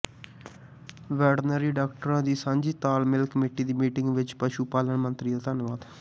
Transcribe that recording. veterinary ਡਾਕਟਰਾਂ ਦੀ ਸਾਂਝੀ ਤਾਲਮੇਲ ਕਮੇਟੀ ਦੀ ਮੀਟਿੰਗ ਵਿੱਚ ਪਸ਼ੂ ਪਾਲਣ ਮੰਤਰੀ ਦਾ ਧੰਨਵਾਦ